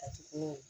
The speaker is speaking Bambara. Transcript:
A ti ko